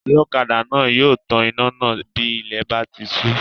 Ọlọ́kadà náà yóò tan iná náà bí ilẹ̀ bá ti sú